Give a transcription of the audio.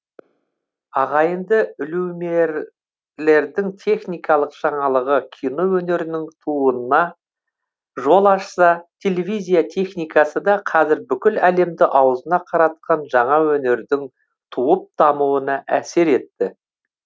ағайынды льюмерлердің техникалық жаңалығы кино өнерінің тууына жол ашса телевизия техникасы да қазір бүкіл әлемді аузына қаратқан жаңа өнердің туып дамуына әсер етті